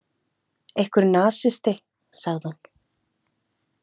Einhver nasisti, sagði hún.